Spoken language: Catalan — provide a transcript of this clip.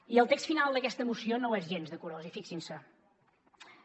i el text final d’aquesta moció no ho és gens de curós i fixin s’hi